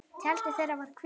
Tjaldið þeirra var hvítt.